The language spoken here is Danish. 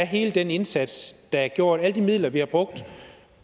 hele den indsats der er gjort alle de midler vi har brugt